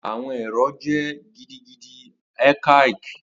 Awọn ẹrọ jẹ gidigidi archaic